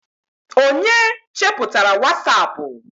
onye cheputara wasapu?